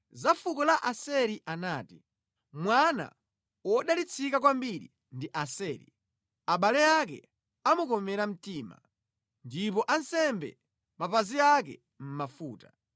Za fuko la Aseri anati: “Mwana wodalitsika kwambiri ndi Aseri; abale ake amukomere mtima, ndipo asambe mapazi ake mʼmafuta.